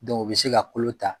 u bɛ se ka kolo ta.